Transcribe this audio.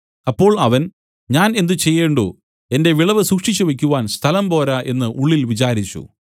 അപ്പോൾ അവൻ ഞാൻ എന്ത് ചെയ്യേണ്ടു എന്റെ വിളവ് സൂക്ഷിച്ച് വെയ്ക്കുവാൻ സ്ഥലം പോരാ എന്നു ഉള്ളിൽ വിചാരിച്ചു